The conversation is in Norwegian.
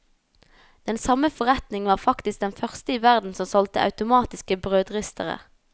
Den samme forretning var faktisk den første i verden som solgte automatiske brødristere.